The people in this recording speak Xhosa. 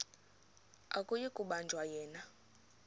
akuyi kubanjwa yena